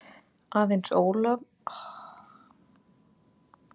Aðeins Jón Ólafur haggaðist ekki, enda vissi hann ekki hvað var að gerast.